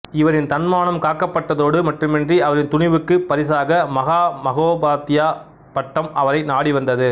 இவரின் தன்மானம் காக்கப்பட்டதோடு மட்டுமன்றி அவரின் துணிவுக்குப் பரிசாக மகாமகோபாத்தியாயப் பட்டம் அவரை நாடி வந்தது